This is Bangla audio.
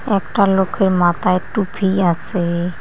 একটা লোকের মাতায় টুপি আসে।